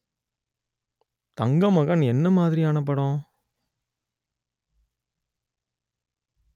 தங்கமகன் என்ன மாதிரியான படம்